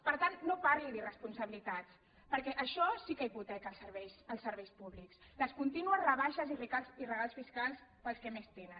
per tant no parli d’irresponsabilitats perquè això sí que hipoteca els serveis públics les contínues rebaixes i regals fiscals per als que més tenen